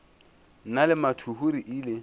nna le mathuhu re ile